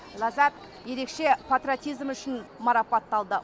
ляззат ерекше патриотизмі үшін марапатталды